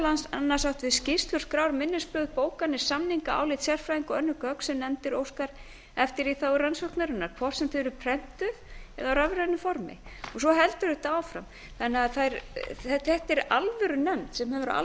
annars átt við skýrslur skrár minnisblöð bókanir samninga álit sérfræðinga og önnur gögn sem nefndin óskar eftir í þágu rannsóknarinnar hvort sem þau eru prentuð eða í rafrænu formi svo heldur þetta áfram þannig að þetta er alvörunefnd sem hefur